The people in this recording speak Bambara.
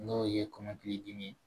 N'o ye kɔmɔkili dimi ye